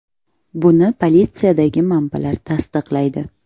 Buni politsiyadagi manbalar tasdiqlaydi.